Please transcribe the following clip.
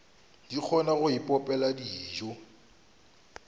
di kgona go ipopela dijo